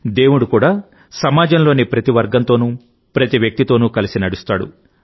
దేవుడు కూడా సమాజంలోని ప్రతి వర్గంతోనూ ప్రతి వ్యక్తితోనూ కలిసి నడుస్తాడు